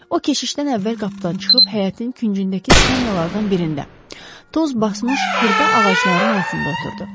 O, keşişdən əvvəl qapıdan çıxıb həyətin küncündəki skamyalardan birində, toz basmış xırda ağacların altında oturdu.